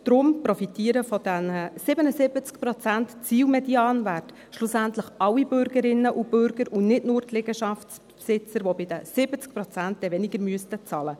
Daher profitieren von diesem Zielmedianwert von 77 Prozent schlussendlich alle Bürgerinnen und Bürger, und nicht nur die Liegenschaftsbesitzer, die bei 70 Prozent weniger zahlen müssten.